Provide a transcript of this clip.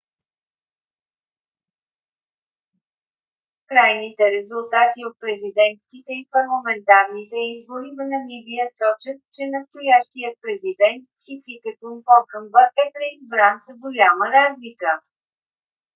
крайните резултати от президентските и парламентарните избори в намибия сочат че настоящият президент хификепунe похамба е преизбран с голяма разлика